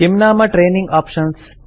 किं नाम training options